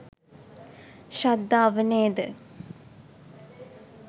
ශ්‍රද්ධාව නේද?